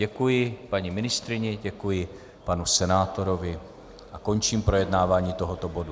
Děkuji paní ministryni, děkuji panu senátorovi a končím projednávání tohoto bodu.